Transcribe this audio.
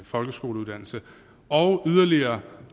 folkeskoleuddannelse og yderligere